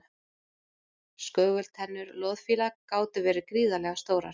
skögultennur loðfíla gátu verið gríðarlega stórar